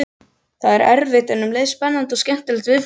Það er erfitt en um leið spennandi og skemmtilegt viðfangsefni.